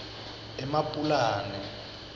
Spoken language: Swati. emapulani